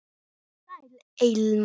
Sæl, Elma.